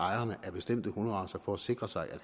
ejerne af bestemte hunderacer for at sikre sig at